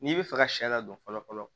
N'i bɛ fɛ ka sɛ ladon fɔlɔ fɔlɔ